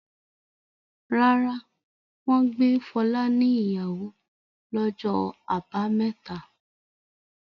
Rárá, wọ́n gbé Fọlá níyàwó lọjọ́ àbámẹ́ta.